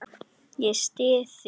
Ég styð þig.